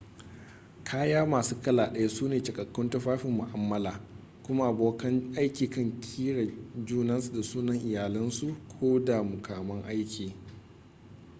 kaya masu kala ɗaya su ne cikakkun tufafin mu'amala kuma abokan aiki kan kira junansu da sunan iyalinsu ko da muƙaman aiki